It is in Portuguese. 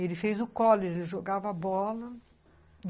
E ele fez o college, jogava bola.